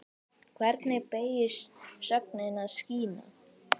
Hvernig beygist sögnin að skína?